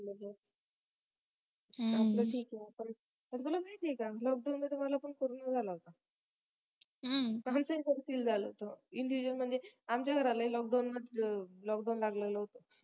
आपला ठीक आहे आपण पण तुला माहिती आहे का lockdown मध्ये मला पण corona झाला होता खूप individual feel झालं होत individual म्हणजे आमच्या घरालाही lockdown लागलेल होतं